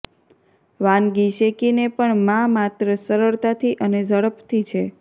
વાનગી શેકીને પણ માં માત્ર સરળતાથી અને ઝડપથી છે